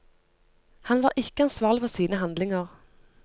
Han var ikke ansvarlig for sine handlinger.